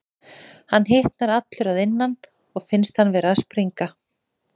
Hann hitnar allur að innan og finnst hann vera að springa.